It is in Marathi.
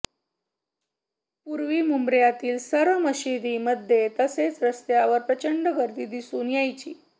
पूर्वी मुंब्र्यातील सर्व मशिदींमध्ये तसेच रस्त्यांवर प्रचंड गर्दी दिसून यायची